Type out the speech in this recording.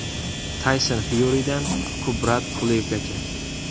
Tayson Fyuridan Kubrat Pulevgacha.